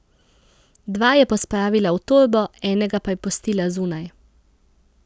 Dva je pospravila v torbo, enega pa je pustila zunaj.